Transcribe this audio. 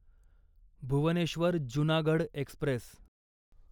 Bhubaneswar Junagadh Express